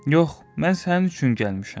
Yox, mən sənin üçün gəlmişəm.